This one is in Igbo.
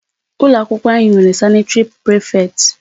Ụlọ akwụkwọ anyị nwere sanitary prefect.